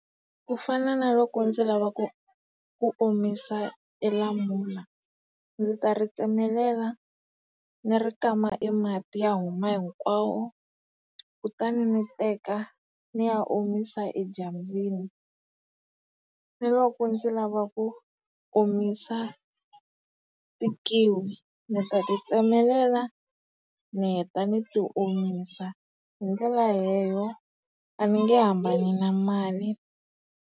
Ku fana na loko ndzi lava ku ku omisa e lamula. Ndzi ta ri tsemelela ni ri kama e mati ya huma hinkwawo, kutani ni teka ni ya omisa edyambini. Ni loko ndzi lava ku omisa ti kiwi, ndzi ta ti tsemelela, ni heta ni ti omisa. Hi ndlela leyo a ni nge hambani na mali.